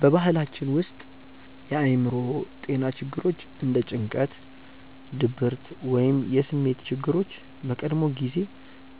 በባህላችን ውስጥ የአእምሮ ጤና ችግሮች እንደ ጭንቀት፣ ድብርት ወይም የስሜት ችግሮች በቀድሞ ጊዜ